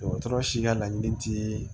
Dɔgɔtɔrɔ si ka laɲini tɛ